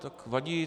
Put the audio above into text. Tak vadí.